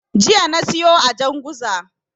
Jiya na siyo a Janguza.